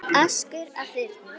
askur af þyrni